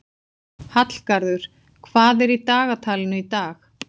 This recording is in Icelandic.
Hallgarður, hvað er í dagatalinu í dag?